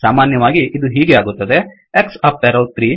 ಸಾಮಾನ್ಯವಾಗಿ ಇದು ಹೀಗೆ ಆಗುತ್ತದೆ X ಅಪ್ ಎರೋ 3